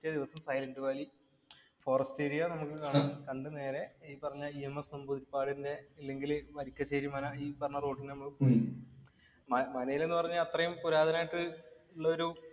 പിറ്റേ ദിവസം silent valley forest area നമുക്ക് കാണാം. കണ്ടു നേരെ ഈ പറഞ്ഞ മനയില് എന്ന് പറഞ്ഞ അത്രേം പുരാതനമായിട്ടുള്ള ഒരു